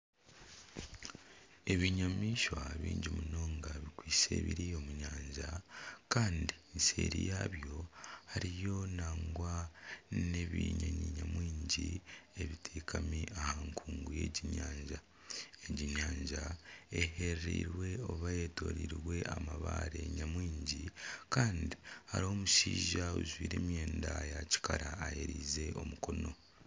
Ebinyamaishwa bingi munonga bikwitse biri omu nyanja kandi eseeri yabyo hariyo nangwa nebinyonyi nyamwingi ebitekami aha nkungu yegi nyanja. Egi nyanja eherereirwe oba eyetoreirwe amabaare nyamwingi kandi hariho omushaija ojwire emwenda ya kikara ayererize omukono.